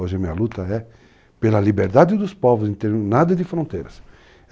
Hoje a minha luta é pela liberdade dos povos em termos nada de fronteiras.